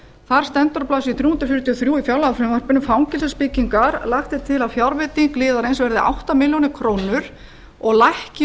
þar stendur á blaðsíðu þrjú hundruð fjörutíu og þrjú í fjárlagafrumvarpinu fangelsisbyggingar lagt er til að fjárveiting liðarins verði átta milljónir króna og lækki